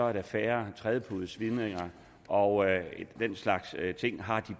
er der færre trædepudesvidninger og den slags ting og har de